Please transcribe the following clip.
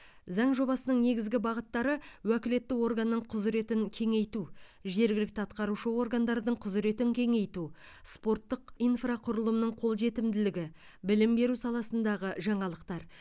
заң жобасының негізгі бағыттары уәкілетті органның құзыретін кеңейту жергілікті атқарушы органдардың құзыретін кеңейту спорттық инфрақұрылымының қолжетімділігі білім беру саласындағы жаңалықтар